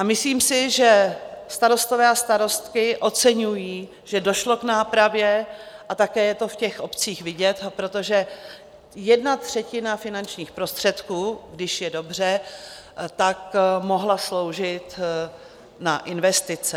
A myslím si, že starostové a starostky oceňují, že došlo k nápravě, a také je to v těch obcích vidět, protože jedna třetina finančních prostředků, když je dobře, tak mohla sloužit na investice.